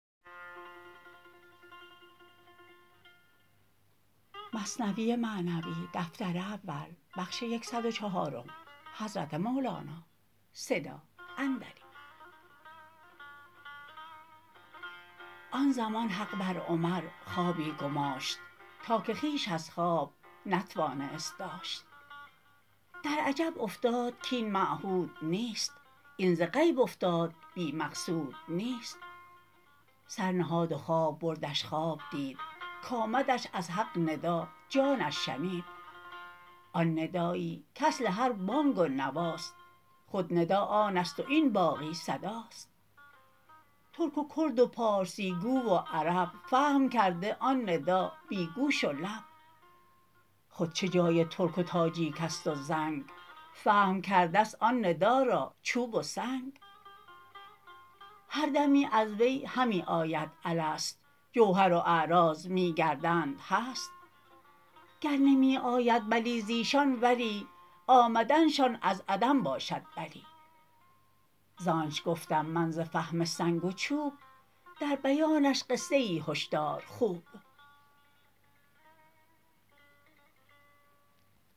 آن زمان حق بر عمر خوابی گماشت تا که خویش از خواب نتوانست داشت در عجب افتاد کاین معهود نیست این ز غیب افتاد بی مقصود نیست سر نهاد و خواب بردش خواب دید کآمدش از حق ندا جانش شنید آن ندایی کاصل هر بانگ و نواست خود ندا آنست و این باقی صداست ترک و کرد و پارسی گو و عرب فهم کرده آن ندا بی گوش و لب خود چه جای ترک و تاجیکست و زنگ فهم کرده است آن ندا را چوب و سنگ هر دمی از وی همی آید الست جوهر و اعراض می گردند هست گر نمی آید بلی زایشان ولی آمدنشان از عدم باشد بلی زانچ گفتم من ز فهم سنگ و چوب در بیانش قصه ای هش دار خوب